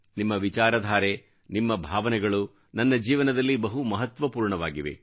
ನಿಮ್ಮ ವಿಚಾರಧಾರೆ ನಿಮ್ಮ ಭಾವನೆಗಳು ನನ್ನ ಜೀವನದಲ್ಲಿ ಬಹು ಮಹತ್ವಪೂರ್ಣವಾಗಿವೆ